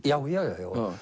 já já